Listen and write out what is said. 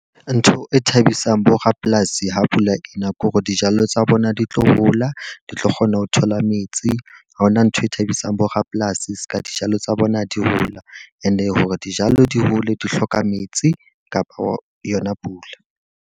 Ntho e thabisang bo rapolasi ha pula ena ke hore dijalo tsa bona di tlo hola, di tlo kgona ho thola metsi, ha hona ntho e thabisang bo rapolasi seka dijalo tsa bona di hola. E ne hore dijalo di hole, di hloka metsi kapo yona pula.